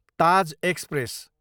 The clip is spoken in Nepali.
ताज एक्सप्रेस